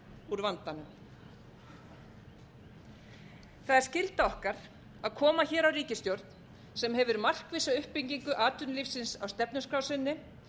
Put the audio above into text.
úr vandanum það er skylda okkar að koma hér á ríkisstjórn sem hefur markvissa uppbyggingu atvinnulífsins á stefnuskrá sinni